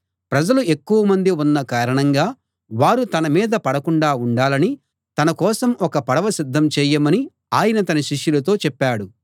ప్రజలు ఎక్కువమంది ఉన్న కారణంగా వారు తన మీద పడకుండా ఉండాలని తన కోసం ఒక పడవ సిద్ధం చేయమని ఆయన తన శిష్యులతో చెప్పాడు